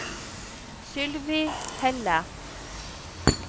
Sylvi Helle